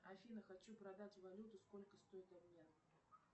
афина хочу продать валюту сколько стоит обмен